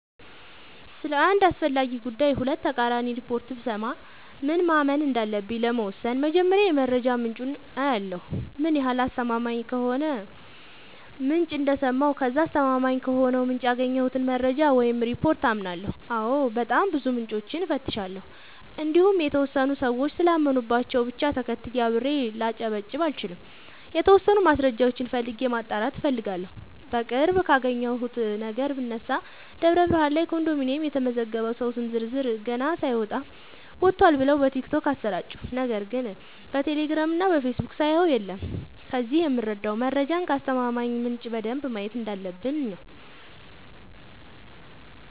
ስለ አንድ አስፈላጊ ጉዳይ ሁለት ተቃራኒ ሪፖርት ብሰማ ምን ማመን እንዳለብኝ ለመወሠን መጀመሪያ የመረጃ ምንጬን አያለሁ ምን ያህል አስተማማኝ ከሆነ ምንጭ እንደሰማሁ ከዛ አስተማማኝ ከሆነው ምንጭ ያገኘሁትን መረጃ ወይም ሪፓርት አምናለሁ አዎ በጣም ብዙ ምንጮችን እፈትሻለሁ እንዲሁም የተወሰኑ ሰዎች ስላመኑባቸው ብቻ ተከትዬ አብሬ ላጨበጭብ አልችልም የተወሰኑ ማስረጃዎችን ፈልጌ ማጣራት እፈልጋለሁ። በቅርብ ካየሁት ነገር ብነሳ ደብረብርሃን ላይ ኮንዶሚኒየም የተመዘገበ ሰው ስም ዝርዝር ገና ሳይወጣ ወጥቷል ብለው በቲክቶክ አሰራጩ ነገር ግን በቴሌግራም እና በፌስቡክ ሳየው የለም ከዚህ የምረዳው መረጃን ከአስተማማኝ ምንጭ በደንብ ማየት እንዳለበ፣ ብኝ ነው።